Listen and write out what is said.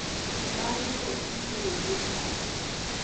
Bang`e to iterogi e pala.